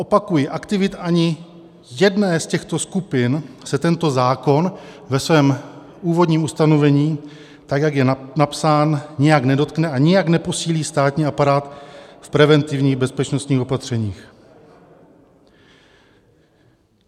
Opakuji, aktivit ani jedné z těchto skupin se tento zákon ve svém úvodním ustanovení, tak jak je napsán, nijak nedotkne a nijak neposílí státní aparát v preventivních bezpečnostních opatřeních.